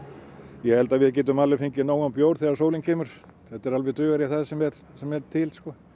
ég held að við getum alveg fengið nógan bjór þegar sólin kemur þetta dugar í það sem er sem er til